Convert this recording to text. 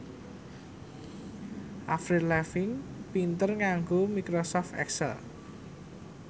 Avril Lavigne pinter nganggo microsoft excel